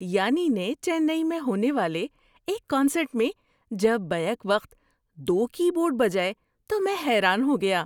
یانی نے چنئی میں ہونے والے ایک کنسرٹ میں جب بیک وقت دو کی بورڈ بجائے تو میں حیران ہو گیا۔